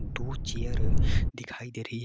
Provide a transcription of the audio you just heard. दो चेयर दिखाई दे रही है।